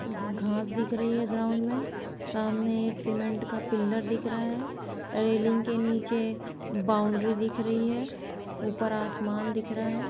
ग-घास दिख रही है ग्राउन्ड में सामने एक सीमेंट का पिलर दिख रहा है रेलिंग के नीचे बाउंड्री दिख रही है ऊपर आसमान दिख रहा है।